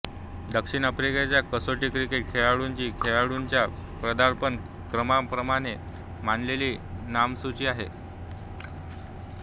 दक्षिण आफ्रिकेच्या कसोटी क्रिकेट खेळाडूंची खेळाडूंच्या पदार्पण क्रमांकाप्रमाणे मांडलेली नामसूची आहे